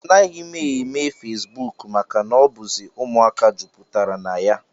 Anaghị m eme feesbuk maka na ọ bụzi ụmụaka jupụtara na ya